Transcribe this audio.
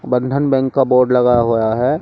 बंधन बैंक का बोर्ड लगा हुआ है।